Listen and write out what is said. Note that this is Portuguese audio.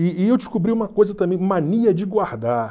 E e eu descobri uma coisa também, mania de guardar.